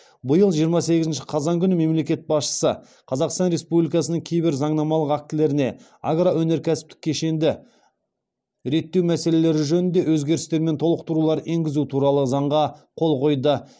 биыл жиырма сегізінші қазан күні мемлекет басшысы қазақстан республикасының кейбір заңнамалық актілеріне агроөнеркәсіптік кешенді реттеу мәселелері жөнінде өзгерістер мен толықтырулар енгізу туралы заңға қол қойды